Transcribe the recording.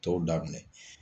Tɔw da minɛ.